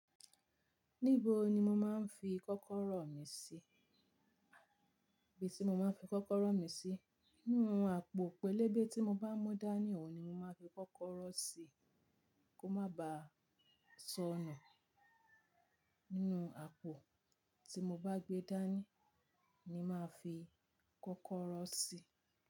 Níbo ni mo máa ń fi kọ́kọ́rọ́ mi sí? Ibi tí mo máa ń fi kọ́kọ́rọ́ mi sí, inú àpò pẹlẹbẹ tí mo bá mú dání, ni òun ni mo máa ń fi kọ́kọ́rọ́ sí kó má ba sọnù. Inú àpò tí mo bá gbé dání ni mo máa ń fi kọ́kọ́rọ́ sí.